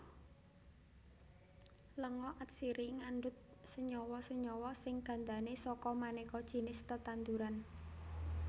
Lenga atsiri ngandhut senyawa senyawa sing gandané saka manéka jinis tetanduran